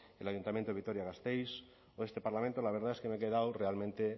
el ayuntamiento de vitoria gasteiz o este parlamento la verdad es que me he quedado realmente